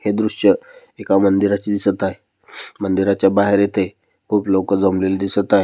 हे दृश्य एका मंदिराचे दिसत आहे. मंदिराच्या बाहेर इथे खूप लोक जमलेले दिसत आहे.